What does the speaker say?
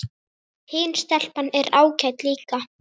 Hin stelpan er ágæt líka